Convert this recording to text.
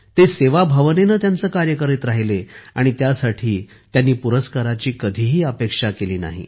ते सेवाभावनेने त्यांचे कार्य करत राहिले आणि त्यासाठी त्यांनी कधीही पुरस्काराची अपेक्षा केली नाही